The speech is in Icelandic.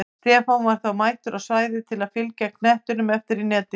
Stefán var þó mættur á svæðið til að fylgja knettinum eftir í netið!